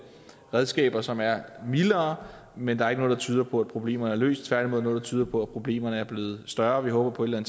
redskaber som er mildere men der er ikke noget der tyder på at problemerne er løst tværtimod noget der tyder på at problemerne er blevet større og vi håber at